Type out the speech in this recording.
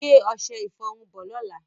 Gbé ọṣẹ-ìfọrun bọ̀ lọ́lá.